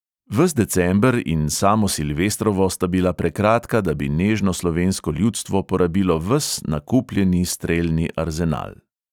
Ves december in samo silvestrovo sta bila prekratka, da bi nežno slovensko ljudstvo porabilo ves nakupljeni strelni arzenal.